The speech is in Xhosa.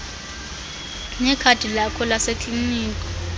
nekhadi lakho lasekliniki